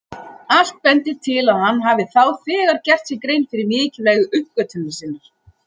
Allt bendir til að hann hafi þá þegar gert sér grein fyrir mikilvægi uppgötvunar sinnar.